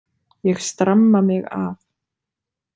Ég stramma mig af.